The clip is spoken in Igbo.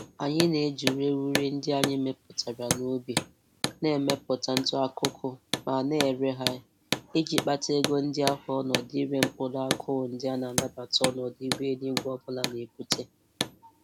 Anyi na-eji ureghure ndị anyị mepụtara n'ubi na-emepụta ntụ akụkụ ma na-ere ha iji kpata ego ndị ahụ onọdụ ire mkpụrụ akụụ ndị a na-anabata ọnọdụ ihu eluigwe ọbụla na-ebute.